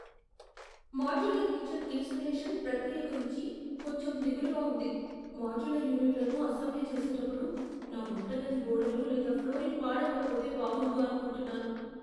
Modular kitchen installation ప్రక్రియ గురించి కొంచెం దిగులుగా ఉంది. మాడ్యులర్ యూనిట్లను అసెంబ్లీ చేసేటప్పుడు నా వంటగది గోడలు లేదా ఫ్లోరింగ్ పాడవకపోతే బాగుండు అనుకుంటున్నాను.